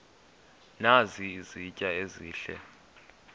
nazi izitya ezihle